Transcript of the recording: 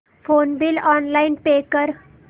phone bill online pay कर